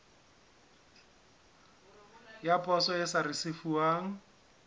ya poso e sa risefuwang